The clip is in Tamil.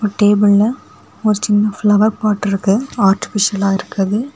டேபிள்ல ஒரு சின்ன ஃபிளவர் பாட் இருக்கு ஆர்டிபிசியலா இருக்குது.